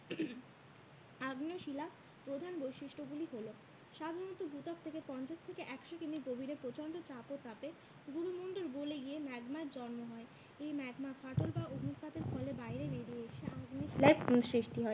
আগ্নেয় শিলার প্রধান বৈশিষ্ট গুলি হলো সাধারণত ভূত্বক থেকে পঞ্চাশ থেকে একশো কিমি গভীরে প্রচন্ড চাপ ও তাপে গুরুমণ্ডল গোলে গিয়ে ম্যাগমার জন্ম হয়। এই ম্যাগমা ফাটল বা অগ্নুৎপাতের ফলে বাইরে বেরিয়ে এসে আগ্নেয় শিলায় সৃষ্টি হয়।